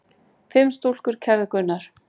Fimm stúlkur kærðu Gunnar.